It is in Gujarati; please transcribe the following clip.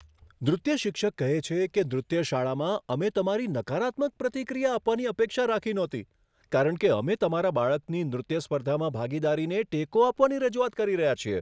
નૃત્ય શિક્ષક કહે છે કે, નૃત્ય શાળામાં, અમે તમારી નકારાત્મક પ્રતિક્રિયા આપવાની અપેક્ષા રાખી નહોતી કારણ કે અમે તમારા બાળકની નૃત્ય સ્પર્ધામાં ભાગીદારીને ટેકો આપવાની રજૂઆત કરી રહ્યા છીએ.